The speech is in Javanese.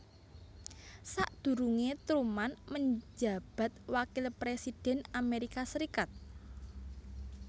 Sadurunge Truman menjabat wakil presiden Amerika Serikat